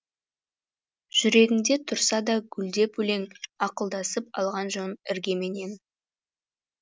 жүрегіңде тұрса да гүлдеп өлең ақылдасып алған жөн іргеменен